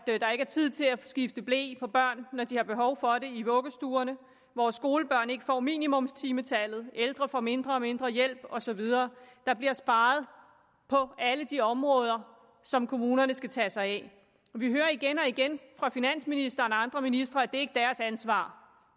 er tid til at skifte ble på børn når de har behov for det i vuggestuerne hvor skolebørn ikke får minimumstimetallet hvor ældre får mindre og mindre hjælp og så videre der bliver sparet på alle de områder som kommunerne skal tage sig af vi hører igen og igen fra finansministeren og andre ministre at det ikke er deres ansvar